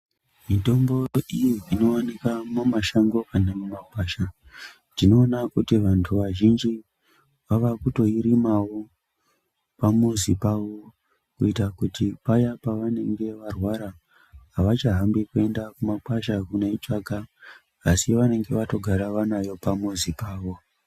Mutombo iyo inowanikwa mumashango kana mumakwasha ndiona kuti vantu vazhinji vava kutoirimawo pamuzi pavo kuita kuti paya pavanenge varwara avachahambi kuenda kumakwasha kunoitsvaka asi vanenge vagara vatori nayo pamuzi pavo